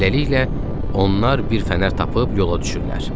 Beləliklə, onlar bir fənər tapıb yola düşürlər.